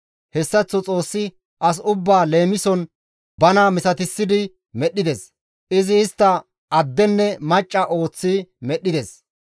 Hessaththo Xoossi as ba leemison bana misatissidi medhdhides; izi istta addenne macca ooththi medhdhides.